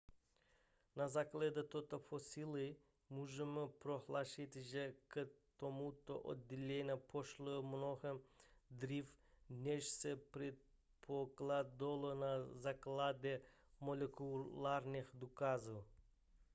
na základě této fosilie můžeme prohlásit že k tomuto oddělení došlo mnohem dříve než se předpokládalo na základě molekulárních důkazů